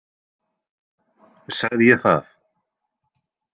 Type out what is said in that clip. Sagði ég það?